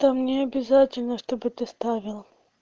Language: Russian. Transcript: да мне обязательно чтобы это вставило